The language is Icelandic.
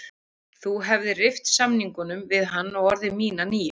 Þú hefðir rift samningnum við hann og orðið mín að nýju.